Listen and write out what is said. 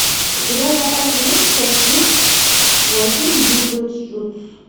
у тебя в запасе есть часть тридцать восемь битлджус